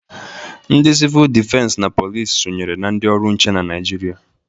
Ndị sivul dịfens na police sonyere na ndị ọrụ nche na Naịjịrịa.